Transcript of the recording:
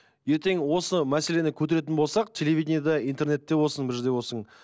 ертең осы мәселені көтеретін болсақ телевиденияда интернетте болсын бір жерде болсын